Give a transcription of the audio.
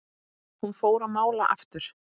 Hún fór að mála aftur.